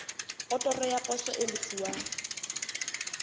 otoro ya poso e lefuwang